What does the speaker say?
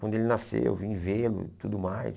Quando ele nasceu, eu vim vê-lo e tudo mais.